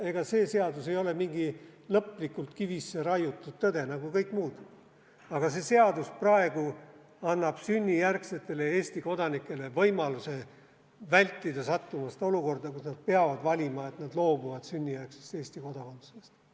Ega see seadus ei ole mingi lõplikult kivisse raiutud tõde, nagu kõik muud, aga see seadus annab sünnijärgsetele Eesti kodanikele võimaluse vältida sattumist olukorda, kus nad peavad valima, et nad loobuvad sünnijärgsest Eesti kodakondsusest.